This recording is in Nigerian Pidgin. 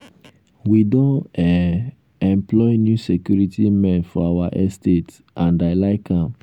we don um employ new security men for our estate and i like am